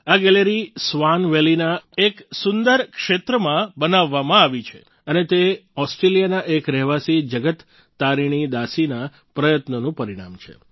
આ gallery swan વેલીના એક સુંદર ક્ષેત્રમાં બનાવવામાં આવી છે અને તે ઓસ્ટ્રેલિયાના એક રહેવાસી જગત તારીણી દાસીના પ્રયત્નોનું પરિણામ છે